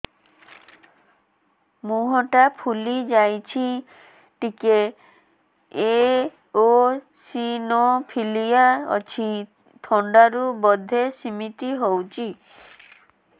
ମୁହଁ ଟା ଫୁଲି ଯାଉଛି ଟିକେ ଏଓସିନୋଫିଲିଆ ଅଛି ଥଣ୍ଡା ରୁ ବଧେ ସିମିତି ହଉଚି